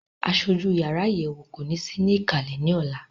Aṣojú yàrá àyẹ̀wò kò ní sí ní ìkàlẹ̀ ní ọ̀la.